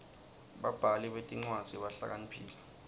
babhali betincwadzi bahlakaniphile